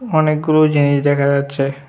অনেকগুলো জিনিস দেখা যাচ্ছে।